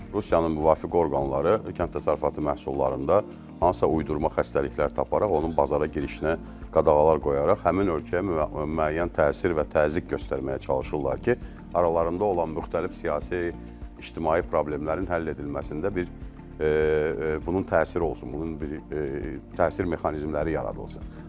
Rusiyanın müvafiq orqanları kənd təsərrüfatı məhsullarında hansısa uydurma xəstəliklər taparaq onun bazara girişinə qadağalar qoyaraq həmin ölkəyə müəyyən təsir və təzyiq göstərməyə çalışırlar ki, aralarında olan müxtəlif siyasi, ictimai problemlərin həll edilməsində bir bunun təsiri olsun, bunun bir təsir mexanizmləri yaradılsın.